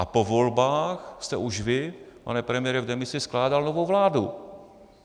A po volbách jste už vy, pane premiére v demisi, skládal novou vládu.